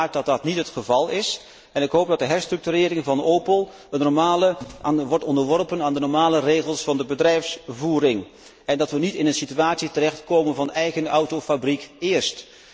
Ik hoop uiteraard dat dat niet het geval is en ik hoop dat de herstructurering van Opel wordt onderworpen aan de normale regels van de bedrijfsvoering en dat we niet in een situatie terechtkomen van eigen autofabriek eerst.